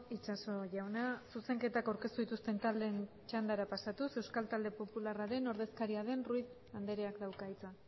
itxaso jauna zuzenketak aurkeztu dituzten taldeen txandara pasatuz euskal talde popularraren ordezkaria den ruiz andreak dauka hitza